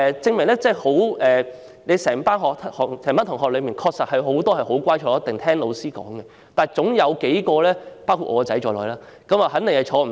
在同一班同學之中，有很多小朋友很乖，會坐下來聽老師教導，但總有幾個，包括我兒子在內，會坐不住。